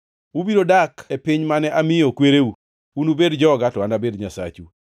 Ubiro dak e piny mane amiyo kwereu; unubed joga to anabed Nyasachu.